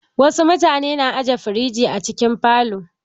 Wasu mutane na aje firiji a cikin falo.